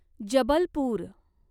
Jabalpur